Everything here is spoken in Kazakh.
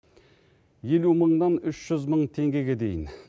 елу мыңнан жүз мың теңгеге дейін